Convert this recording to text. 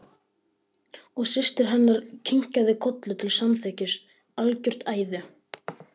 Og systir hennar kinkaði kolli til samþykkis: Algjört æði.